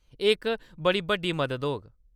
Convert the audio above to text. एह्‌‌ इक बड़ी बड्डी मदद होग।